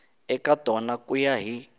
eka tona ku ya hi